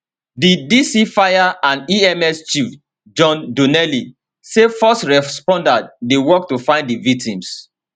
di dc fire and ems chief john donnelly say first responders dey work to find di victims